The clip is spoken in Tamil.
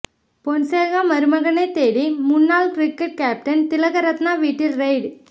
பொன்சேகா மருமகனைத் தேடி முன்னாள் கிரிக்கெட் கேப்டன் திலகரத்னே வீட்டில் ரெய்டு